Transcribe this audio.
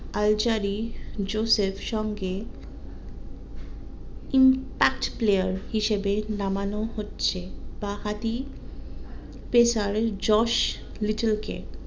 Alzarri Joseph সঙ্গে player হিসাবে নামানো হচ্ছে বাঁ হাতি pressure ওই জস লিটল কে